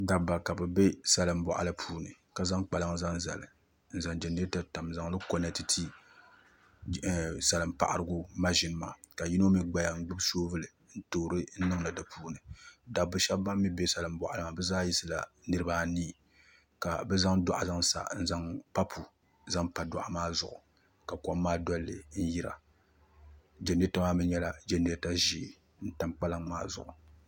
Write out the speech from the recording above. Dabba ka bi bɛ salin boɣali puuni ka zaŋ kpalaŋ zaŋ zali n zaŋ jɛnirɛta tam n zaŋli konɛti ti salin paɣarigu maʒini maa ka yino mii gbaya n gbubi soobuli n toori niŋdi di puuni dabba shab ban mii bɛ salin boɣali maa ni bi zaa yisila niraba anii ka bi zaŋ doɣu zaŋ sa n zaŋ papu zaŋ pa doɣu maa zuɣu ka kom maa dolili n yira jɛnirɛta maa mii nyɛla jɛnirɛta ʒiɛ n tam kpalaŋ maa zuɣu